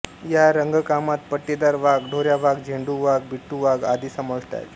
या रंगकामात पट्टेदार वाघ ढोऱ्या वाघ झेंडू वाघ बिट्टु वाघ आदी समाविष्ट आहेत